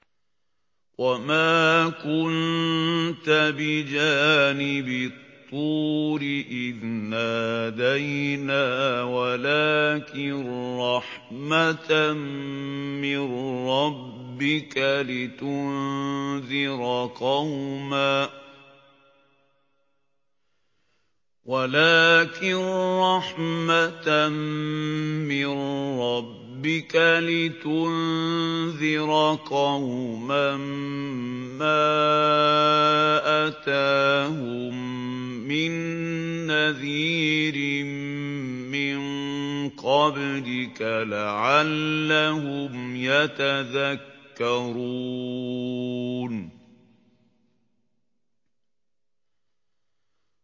وَمَا كُنتَ بِجَانِبِ الطُّورِ إِذْ نَادَيْنَا وَلَٰكِن رَّحْمَةً مِّن رَّبِّكَ لِتُنذِرَ قَوْمًا مَّا أَتَاهُم مِّن نَّذِيرٍ مِّن قَبْلِكَ لَعَلَّهُمْ يَتَذَكَّرُونَ